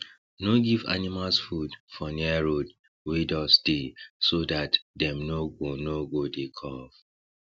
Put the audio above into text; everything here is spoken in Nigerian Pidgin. no give animals food for near road wey dust dey so dat dem no go no go dey cough